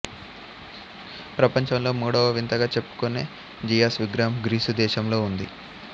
ప్రపంచంలో మూడవ వింతగా చెప్పుకునే జీయాస్ విగ్రహం గ్రీసు దేశంలో ఉంది